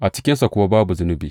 A cikinsa kuwa babu zunubi.